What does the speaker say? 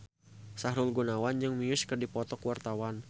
Sahrul Gunawan jeung Muse keur dipoto ku wartawan